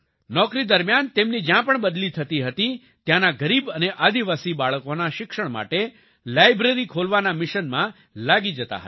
નોકરી દરમિયાન તેમની જ્યાં પણ બદલી થતી હતી ત્યાંના ગરીબ અને આદિવાસી બાળકોની શિક્ષણ માટે લાયબ્રેરી ખોલવાના મિશનમાં લાગી જતા હતા